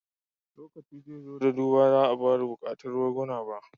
Lokaci zai zo lokacin da ba za a ƙara buƙatar barguna ba